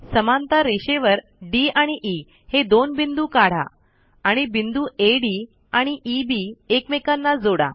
समांतर रेषेवर डी आणि ई हे दोन बिंदू काढा आणि बिंदू अड आणि ईबी एकमेकांना जोडा